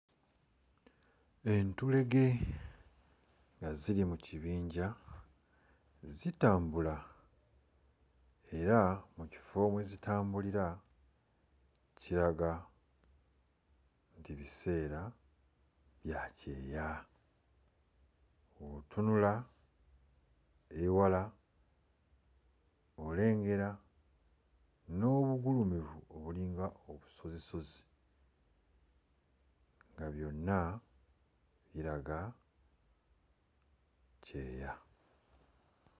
Entulege nga ziri mu kibinja zitambula era mu kifo we zitambulira kiraga nti biseera bya kyeya. Bw'otunula ewala olengera n'obugulumivu obulinga obusozisozi nga byonna biraga kyeya.